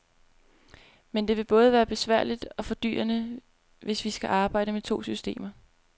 Men det vil både være besværligt og fordyrende, hvis vi skal arbejde med to systemer.